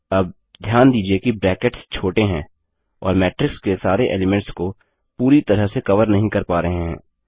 अब ध्यान दीजिये की ब्रैकेट्स छोटे हैं और मैट्रिक्स के सारे एलीमेंट्स को पूरी तरह से कवर नहीं कर पा रहे हैं